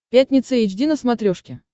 пятница эйч ди на смотрешке